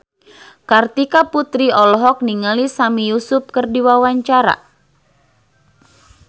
Kartika Putri olohok ningali Sami Yusuf keur diwawancara